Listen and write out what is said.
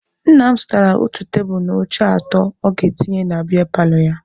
Nna m zụtara otu tebulu na oche atọ ọ ga-etinye na biya paalọ ya.